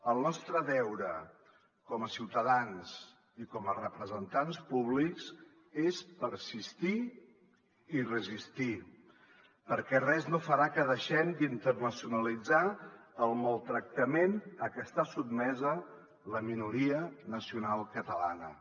el nostre deure com a ciutadans i com a representants públics és persistir i resistir perquè res no farà que deixem d’internacionalitzar el maltractament a què està sotmesa la minoria nacional catalana